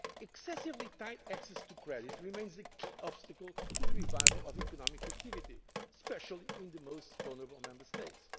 the crisis. Excessively tight access to credit remains a key obstacle to the revival of economic activity especially in the most vulnerable Member